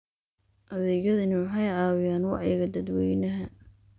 Adeegyadani waxay caawiyaan wacyiga dadweynaha.